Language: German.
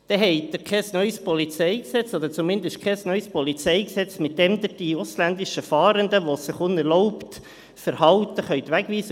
Dann haben Sie kein neues PolG, oder zumindest kein neues PolG, mit dem Sie die ausländischen Fahrenden, die sich unerlaubt verhalten, wegweisen können.